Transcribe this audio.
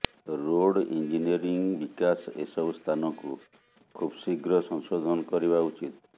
road engineering ବିକାଶ ଏସବୁ ସ୍ଥାନକୁ ଖୁବ୍ଶୀଘ୍ର ସଂଶୋଧନ କରିବା ଉଚିତ୍